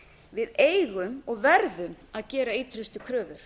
við eigum og verðum að gera ýtrustu kröfur